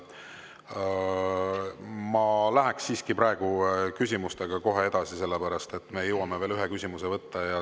Ma läheks siiski praegu küsimustega kohe edasi, sest me jõuame veel ühe küsimuse võtta.